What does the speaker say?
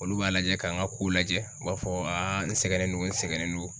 Olu b'a lajɛ k'an ka kow lajɛ u b'a fɔ n sɛgɛnnen don n sɛgɛnnen don